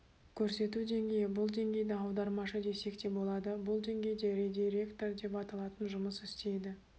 көрсету деңгейі бұл деңгейді аудармашы десек те болады бұл деңгейде редиректор деп аталатын жұмыс істейді